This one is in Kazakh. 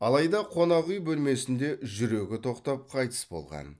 алайда қонақүй бөлмесінде жүрегі тоқтап қайтыс болған